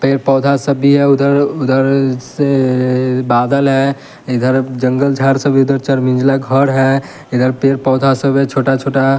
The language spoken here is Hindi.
पेड़ पौधा सभी है उधर उधर से अ बादल है इधर जंगल झाड़ सभी उधर चर मिंजला घर है इधर पेर पौधा सब है छोटा-छोटा।